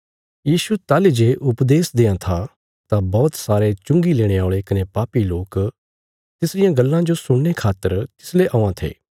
यीशु ताहली जे उपदेश देआं था तां बौहत सारे चुंगी लेणे औल़े कने पापी लोक तिसरियां गल्लां जो सुणने खातर तिसले औआं थे